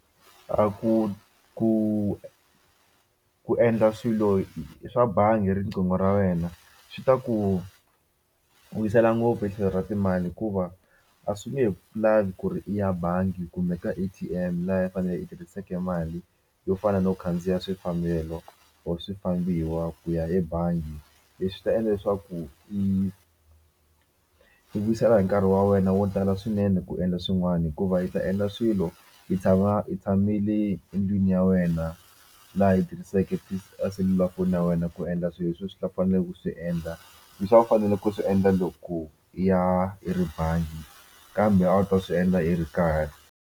A ku ku ku endla swilo swa bangi hi riqingho ra wena swi ta ku wisela ngopfu hi tlhelo ra timali hikuva a swi nge lavi ku ri i ya bangi kumbe ka A_T_M laha a wu fanele i tirhiseke mali yo fana no khandziya swifambelano or swifambiwa ku ya ebangi leswi ta endla leswaku i i vuyisela hi nkarhi wa wena wo tala swinene ku endla swin'wana hikuva i ta endla swilo i tshama i tshami le endlwini ya wena laha i tirhiseke eselulafoni ya wena ku endla swilo leswi swi a swi ta fanele ku swi endla leswi a wu fanele ku swi endla loko i ya i ri bangi kambe a wu ta swi endla i ri kaya.